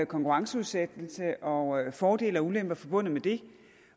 konkurrenceudsættelse og fordele og ulemper forbundet med det